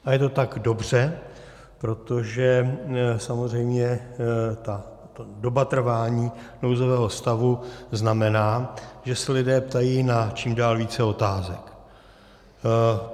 A je to tak dobře, protože samozřejmě ta doba trvání nouzového stavu znamená, že se lidé ptají na čím dál více otázek.